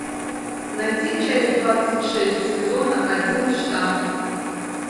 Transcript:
найди часть двадцать шесть сезона один штамм